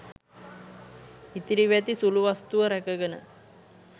ඉතිරිව ඇති සුළු වස්තුව රැකගෙන